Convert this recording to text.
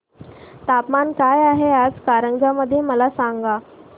तापमान काय आहे आज कारंजा मध्ये मला सांगा